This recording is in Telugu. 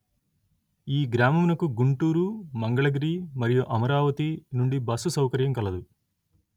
ఈ గ్రామమునకు గుంటూరు మంగళగిరి మరియు అమరావతి నుండి బస్సు సౌకర్యం కలదు